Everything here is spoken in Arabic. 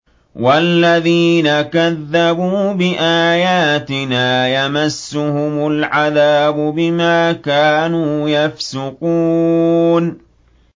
وَالَّذِينَ كَذَّبُوا بِآيَاتِنَا يَمَسُّهُمُ الْعَذَابُ بِمَا كَانُوا يَفْسُقُونَ